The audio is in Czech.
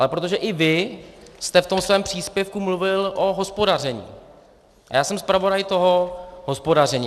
Ale protože i vy jste v tom svém příspěvku mluvil o hospodaření a já jsem zpravodaj toho hospodaření.